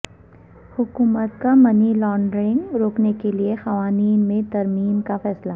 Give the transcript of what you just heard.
حکومت کا money laundering روکنے کیلئے قوانین میں ترمیم کا فیصلہ